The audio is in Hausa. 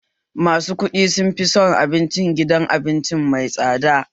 Masu kuɗi sun fi son abincin gidan abinci mai tsada